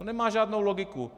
To nemá žádnou logiku.